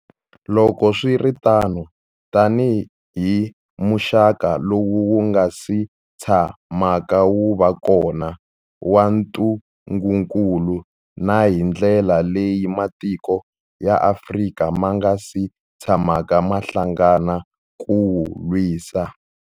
Loko swi ri tano, tanihi muxaka lowu wu nga si tshamaka wu va kona wa ntungukulu, na hi ndlela leyi matiko ya Afrika ma nga si tshamaka ma hlangana ku wu lwisa.